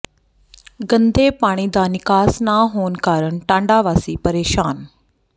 ਗੰਦੇ ਪਾਣੀ ਦਾ ਨਿਕਾਸ ਨਾ ਹੋਣ ਕਾਰਨ ਟਾਂਡਾ ਵਾਸੀ ਪ੍ਰੇਸ਼ਾਨ